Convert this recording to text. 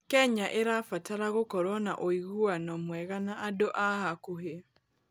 Kenya ĩrabatara gũkorwo na ũiguano mwega na andũ a hakuhĩ.